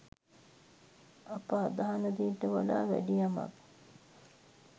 අප අදහන දේට වඩා වැඩියමක්